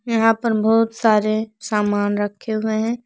यहां पर बहुत सारे सामान रखे हुए हैं।